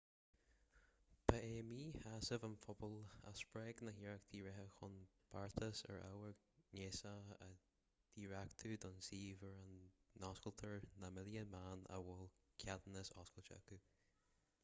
ba é míshásamh an phobail a spreag na hiarrachtaí reatha chun beartas ar ábhar gnéasach a dhréachtú don suíomh ar a n-óstáiltear na milliún meán a bhfuil ceadúnas oscailte acu